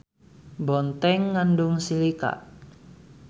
Bonteng ngandung silika.